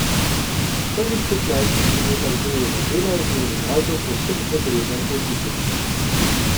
V prvih petnajstih minutah drugega dela je bil Ronaldo povsem odrezan od igre.